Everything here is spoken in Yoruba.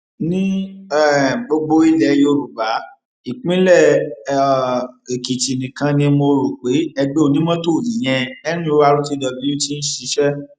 ní um gbogbo ilẹ yorùbá ìpínlẹ um èkìtì nìkan ni mo rò pé ẹgbẹ onímọtò ìyẹn nurtw ti ń ṣiṣẹ